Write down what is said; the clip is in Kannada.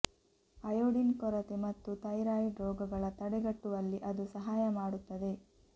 ಅಯೋಡಿನ್ ಕೊರತೆ ಮತ್ತು ಥೈರಾಯಿಡ್ ರೋಗಗಳ ತಡೆಗಟ್ಟುವಲ್ಲಿ ಅದು ಸಹಾಯ ಮಾಡುತ್ತದೆ